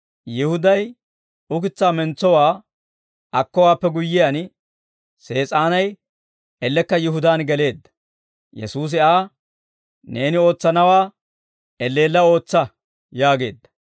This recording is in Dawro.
Yihuday ukitsaa mentsowaa akkowaappe guyyiyaan, Sees'aanay ellekka Yihudaan geleedda. Yesuusi Aa, «Neeni ootsanawaa elleella ootsa!» yaageedda.